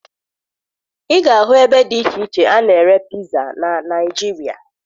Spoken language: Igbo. Ị ga-ahụ ebe dị iche iche a na-ere piza na Naịjirịa